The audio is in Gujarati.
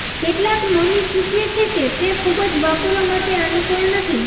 કેટલાક મમી સૂચવે છે કે તે ખૂબ જ વાપરવા માટે અનુકૂળ નથી